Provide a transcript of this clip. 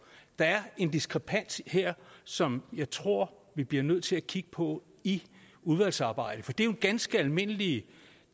der er en diskrepans her som jeg tror vi bliver nødt til at kigge på i udvalgsarbejdet for det er jo ganske almindelige